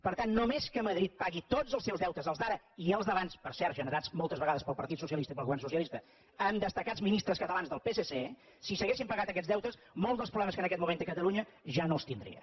per tant no·més que madrid pagui tots els seus deutes els d’ara i els d’abans per cert generats moltes vegades pel par·tit socialista i pel govern socialista amb destacats mi·nistres catalans del psc si s’haguessin pagat aquests deutes molts dels problemes que en aquest moment té catalunya ja no els tindria